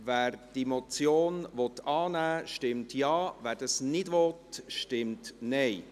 Wer diese Motion annehmen will, stimmt Ja, wer dies nicht will, stimmt Nein.